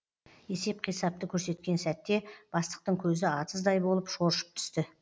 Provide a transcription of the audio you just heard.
есеп қисапты көрсеткен сәтте бастықтың көзі атыздай болып шоршып түсті